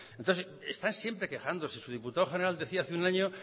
entonces están siempre quejándose su diputado general decía hace un año